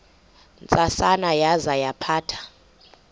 ntsasana yaza yaphatha